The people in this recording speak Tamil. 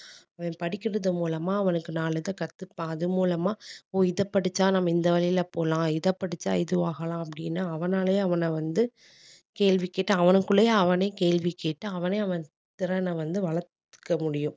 அவன் படிக்கிறது மூலமா அவனுக்கு நாலு இதை கத்துப்பான் அது மூலமா ஓ இதை படிச்சா நாம இந்த வழியில போலாம் இதை படிச்சா இதுவாகலாம் அப்படின்னு அவனாலயே அவன வந்து கேள்வி கேட்டு அவனுக்குள்ளயே அவனே கேள்வி கேட்டு அவனே அவன் திறனை வந்து வளர்க்க முடியும்